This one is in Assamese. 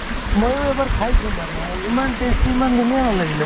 ময়ো এবাৰ খাইছো মানে ইমান tasty ইমান ধুনীয়া নালাগিলে